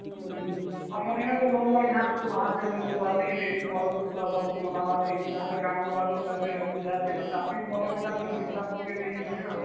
ହଁ ହଁ ବାହାରନ୍ତେ କିଏ କନ ସବୁ ଆସିକିରି ପରବ ଜୁବୁରା ଭଲସେ ମନାବର ଲାଗି ଯାହାର କାମ ଗଲା ଲୋକ ଚାକିରି ବାକିରି ଯାହାଥିବ ଚାକିର ନେଇକି ଯିବେ ଆଉ